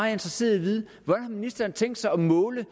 er interesseret i at vide hvordan har ministeren tænkt sig at måle